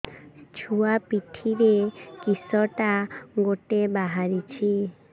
ଛୁଆ ପିଠିରେ କିଶଟା ଗୋଟେ ବାହାରିଛି